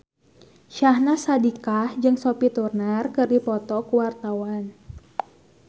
Syahnaz Sadiqah jeung Sophie Turner keur dipoto ku wartawan